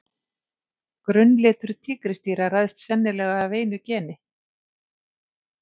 Grunnlitur tígrisdýra ræðst sennilega af einu geni.